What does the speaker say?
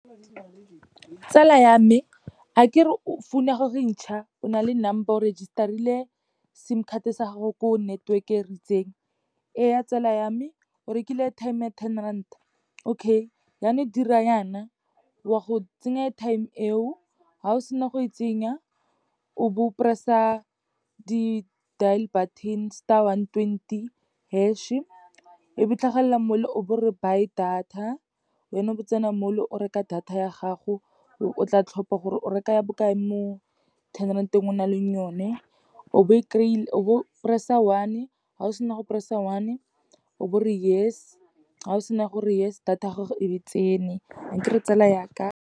Tsala ya me, akere founu ya gago e ntšha, o na le number, o register-ile sim card-e sa gago ko network-e e ritseng. Ee ya tsela ya me, o rekile airtime-e ya ten rand-a, okay yanong dira yana, wa go tsenya airtime-e eo, ha o sena go e tsenya, o bo o press-a di-deal button, star one twenty hash-e, e be tlhagelela mo le, o bo re buy data, wena o be o tsena mo le o reka data ya gago, o tla tlhopa gore o reka ya bokae mo ten rand-eng, o nang le o ne. O be o press-a one-e, ha o sena go press-a one-o, be ore yes, ha o sena gore yes, data ya gago e be tsene, akere tsela yaka.